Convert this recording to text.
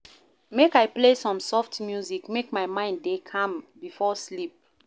Make I play some soft music, make my mind dey calm before sleep.